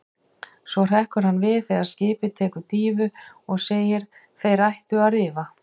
Svo hrekkur hann við þegar skipið tekur dýfu og segir: Þeir ættu að rifa.